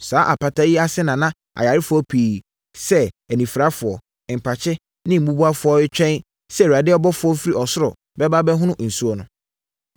Saa apata yi ase na na ayarefoɔ pii sɛ, anifirafoɔ, mpakye ne mmubuafoɔ wɔ retwɛn sɛ Awurade ɔbɔfoɔ firi ɔsoro bɛba abɛhono nsuo no.